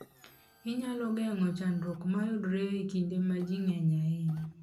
Inyalo geng'o chandruoge mayudore e kinde ma ji ng'enyie ahinya.